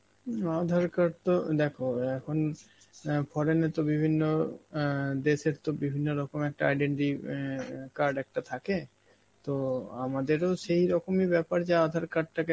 উম Aadhaar card তো, দেখো এখন অ্যাঁ foreign এ তো বিভিন্ন অ্যাঁ দেশের তো বিভিন্ন রকম একটা identity অ্যাঁ এ card একটা থাকে, তো আমাদেরও সেই রকমই ব্যাপার যে আধার card টাকে